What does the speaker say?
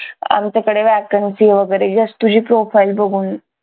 आमच्याकडे vacancy वगैरे जास्त तुझी profile बघून